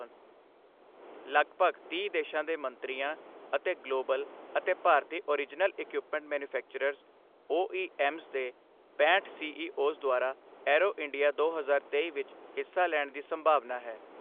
ਲਗਭਗ ਤੀਹ ਦੇਸ਼ਾਂ ਦੇ ਮੰਤਰੀਆਂ ਅਤੇ ਗਲੋਬਲ ਅਤੇ ਭਾਰਤੀ ਓਰਿਜਨਲ ਇਕੁਇਪਮੈਂਟ ਮੈਨੂਫੈਕਚਰਰਸ ਓਈਐੱਮਸ ਦੇ ਪੈਂਹਠ ਸੀਈਓਜ਼ ਦੁਆਰਾ ਏਅਰੋ ਇੰਡੀਆ ਦੋ ਹਜ਼ਾਰ ਤੇਈ ਵਿੱਚ ਹਿੱਸਾ ਲੈਣ ਦੀ ਸੰਭਾਵਨਾ ਹੈ।